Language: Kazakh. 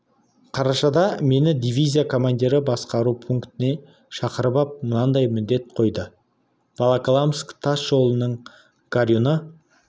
қарашада мені дивизия командирі басқару пунктіне шақырып ап мынадай міндет қойды волоколамск тас жолының горюны